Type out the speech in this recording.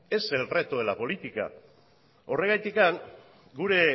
es el reto de la política horregatik gure